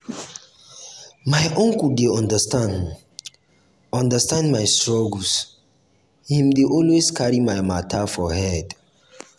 my uncle dey understand um understand um my struggle him dey always carry my mata um for head. um